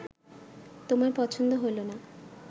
তোমার পছন্দ হইল না